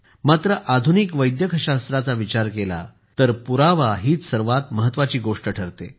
मात्र आधुनिक वैद्यकशास्त्राचा विचार केला तर पुरावा हीच सर्वात महत्त्वाची गोष्ट ठरते